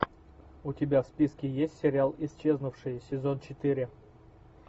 у тебя в списке есть сериал исчезнувшие сезон четыре